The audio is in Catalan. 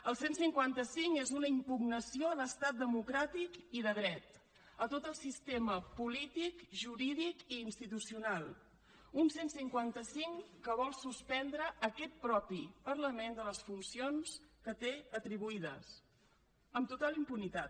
el cent i cinquanta cinc és una impugnació a l’estat democràtic i de dret a tot el sistema polític jurídic i institucional un cent i cinquanta cinc que vol suspendre aquest mateix parlament de les funcions que té atribuïdes amb total impunitat